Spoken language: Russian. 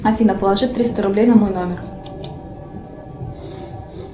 афина положи триста рублей на мой номер